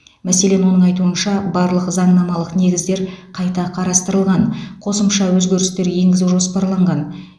мәселен оның айтуынша барлық заңнамалық негіздер қайта қарастырылған қосымша өзгерістер енгізу жоспарланған